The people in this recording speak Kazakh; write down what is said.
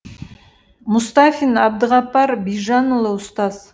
мұстафин әбдіғапар бижанұлы ұстаз